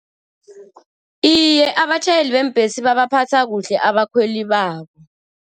Iye, abatjhayeli bembhesi babaphatha kuhle abakhweli babo.